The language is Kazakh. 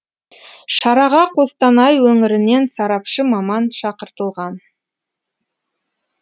шараға қостанай өңірінен сарапшы маман шақыртылған